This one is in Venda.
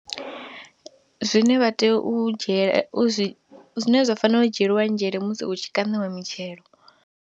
Zwine vha tea u dzhie, u zwi, zwine zwa fanela u dzhielwa nzhele musi hu tshi kaṋiwa mitshelo.